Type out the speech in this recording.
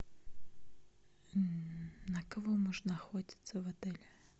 на кого можно охотиться в отеле